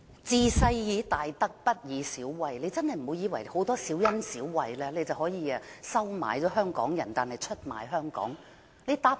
"治世以大德，不以小惠"，她真的不要以為給予很多小恩小惠，便可以收買香港人，然後出賣香港。